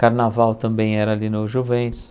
Carnaval também era ali no Juventus.